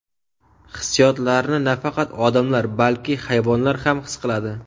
Hissiyotlarni nafaqat odamlar, balki hayvonlar ham his qiladi.